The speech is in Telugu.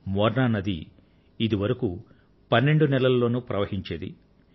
మోర్నా నది ఇదివరకు పన్నెండు నెలలలోనూ ప్రవహించేది